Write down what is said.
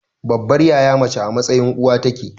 Babbar yaya mace a mtsayin uwa take.